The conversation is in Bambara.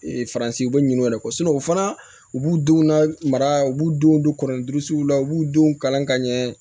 faransiw bɛ ɲin'u yɛrɛ kɔ o fana u b'u denw lamara u b'u denw don kɔrɔnin duuru siw la u b'u denw kalan ka ɲɛ